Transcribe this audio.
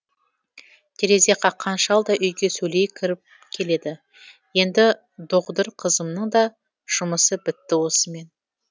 терезе қаққан шал да үйге сөйлей кіріп келеді енді доғдыр қызымның да жұмысы бітті осымен